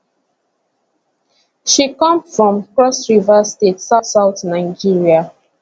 she come from crossriver state southsouth nigeria